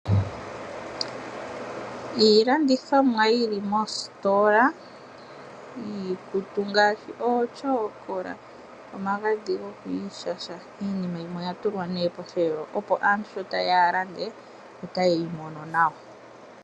Iilandithomwa yili mostola yiikutu ngaashi ootyokola, omagadhi gokwiishasha. Iinima yimwe oyatulwa nee posheelo opo aantu sho tayeya yalande otayeyi mono nawa